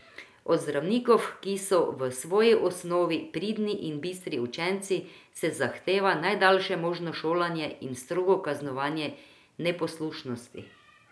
Od zdravnikov, ki so v svoji osnovi pridni in bistri učenci, se zahteva najdaljše možno šolanje in strogo kaznovanje neposlušnosti.